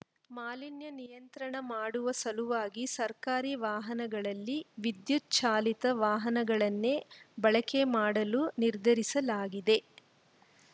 ಮಾಲಿನ್ಯ ನಿಯಂತ್ರಣ ಮಾಡುವ ಸಲುವಾಗಿ ಸರ್ಕಾರಿ ವಾಹನಗಳಲ್ಲಿ ವಿದ್ಯುತ್‌ ಚಾಲಿತ ವಾಹನಗಳನ್ನೇ ಬಳಕೆ ಮಾಡಲು ನಿರ್ಧರಿಸಲಾಗಿದೆ